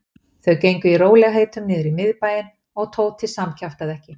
Þau gengu í rólegheitum niður í miðbæinn og Tóti samkjaftaði ekki.